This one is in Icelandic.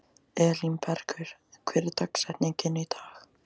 Elínbergur, hver er dagsetningin í dag?